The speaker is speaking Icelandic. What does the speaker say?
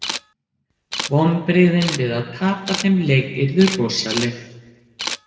Vonbrigðin við að tapa þeim leik yrðu rosaleg.